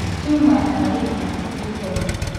Tiuma ya malignant triton .